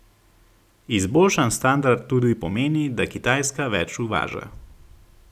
Izboljšan standard tudi pomeni, da Kitajska več uvaža.